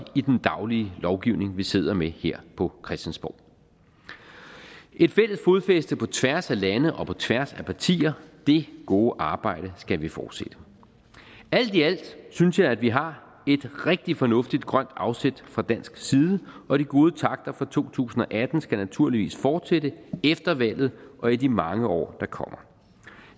i den daglige lovgivning vi sidder med her på christiansborg et fælles fodfæste på tværs af lande og på tværs af partier det gode arbejde skal vi fortsætte alt i alt synes jeg at vi har et rigtig fornuftigt grønt afsæt fra dansk side og de gode takter fra to tusind og atten skal naturligvis fortsætte efter valget og i de mange år der kommer